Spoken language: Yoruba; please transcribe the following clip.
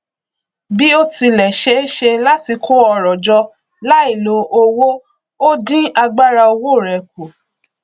bí ó tilẹ ṣeé ṣe láti kó ọrọ jọ láìlo owó ó dín agbára owó rẹ kù